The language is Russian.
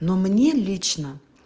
но мне лично